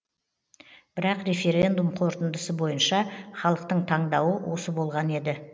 бірақ референдум қорытындысы бойынша халықтың таңдауы осы болған еді